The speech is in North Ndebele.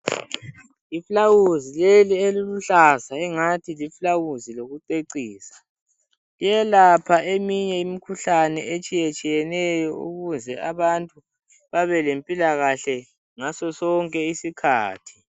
Iflawuzi leli eliluhlaza engathi liflawuzi lokucecisa. Liyelapha eminye imikhuhlane etshiyetshiyeneyo ukuze abantu babelempilakahle ngasosonke isikhathi.